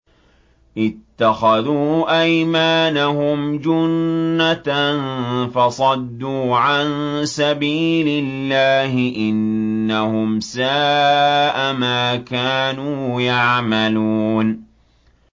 اتَّخَذُوا أَيْمَانَهُمْ جُنَّةً فَصَدُّوا عَن سَبِيلِ اللَّهِ ۚ إِنَّهُمْ سَاءَ مَا كَانُوا يَعْمَلُونَ